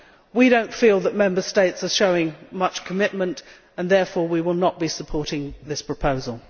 We do not feel that Member States are showing much commitment and, therefore, we will not be supporting this proposal.